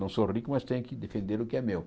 Não sou rico, mas tenho que defender o que é meu.